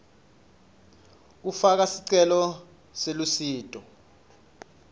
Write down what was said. kufaka sicelo selusito